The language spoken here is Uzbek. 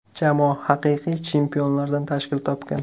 Jamoa haqiqiy chempionlardan tashkil topgan.